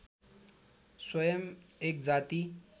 स्वयम् एक जाति